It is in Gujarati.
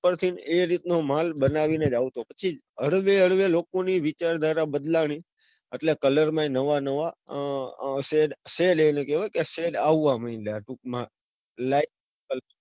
પણ એ રીત નો માલ બનાવીને જ આવતો. પછી હળવે હળવે લોકો ની વિચારધારા બદલાણી એટલે colour માં બી નવા નવા shade એટલે કેવાય કે shade આવવા મંડ્યા ટૂંક માં,